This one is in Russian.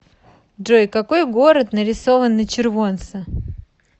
джой какой город нарисован на червонце